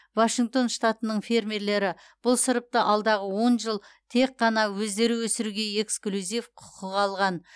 вашингтон штатының фермерлері бұл сұрыпты алдағы он жыл тек қана өздері өсіруге эксклюзив құқық алған